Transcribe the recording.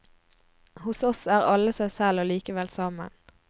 Hos oss er alle seg selv, og likevel sammen.